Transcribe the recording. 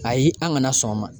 Ayi an ŋana sɔn o ma.